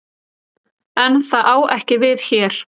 En það á ekki við hér.